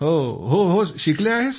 हो होशिकले आहे सर